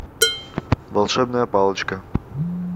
волшебная палочка